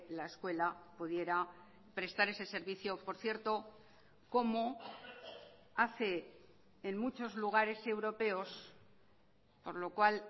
la escuela pudiera prestar ese servicio por cierto como hace en muchos lugares europeos por lo cual